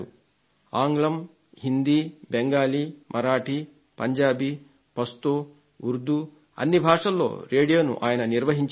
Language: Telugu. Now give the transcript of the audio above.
ఆంగ్లం హిందీ బెంగాలీ మరాఠీ పంజాబీ పశ్తో ఉర్దూ అన్ని భాషల్లో రేడియోను ఆయన నిర్వహించేవారు